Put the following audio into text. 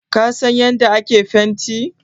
Ka san yanda ake fenti?